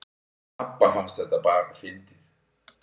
Pabba fannst þetta bara fyndið